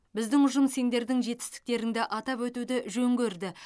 біздің ұжым сендердің жетістіктеріңді атап өтуді жөн көрді